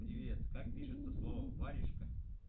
привет как пишется слово варежка